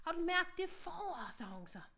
Har du mærket det forår sagde hun så